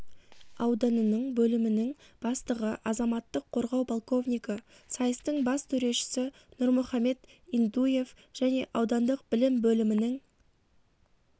ауданының бөлімінің бастығы азаматтық қорғау полковнигі сайыстың бас төрешісі нұрмұхамед интуев және аудандық білім бөлімінің